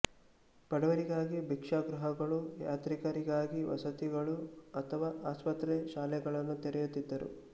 ಬಡವರಿಗಾಗಿ ಭಿಕ್ಷಾಗೃಹಗಳು ಯಾತ್ರಿಕರಿಗಾಗಿ ವಸತಿಗಳು ಅಥವಾ ಆಸ್ಪತ್ರೆ ಶಾಲೆಗಳನ್ನು ತೆರೆಯುತ್ತಿದ್ದರು